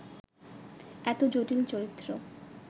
এত জটিল চরিত্র